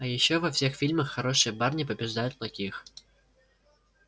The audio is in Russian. а ещё во всех фильмах хорошие парни побеждают плохих